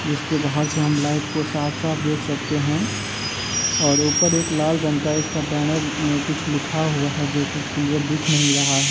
जिसके बाहर से हम लाइट को साफ-साफ देख सकते हैं और ऊपर एक लाल रंग का इसका बैनर में कुछ लिखा हुआ है जोकि क्लियर दिख नहीं रहा है।